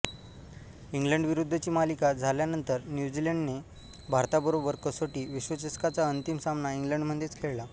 इंग्लंडविरुद्धची मालिका झाल्यानंतर न्यूझीलंडने भारताबरोबर कसोटी विश्वचषकाचा अंतिम सामना इंग्लंडमधेच खेळला